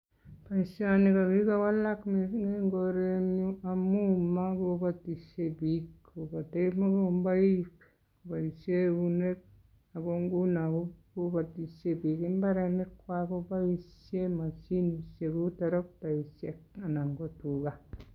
Boisioni ko kigowalak missing eng korenyu amu makobatisie biik kobote mugomboik koboisie eunek, ago nguno kobatishei biik imbarenikwak koboisie masinishek kou torokteishek anan ko tuga.